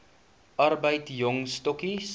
arbeid jong stokkies